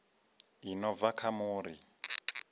i no bva kha muri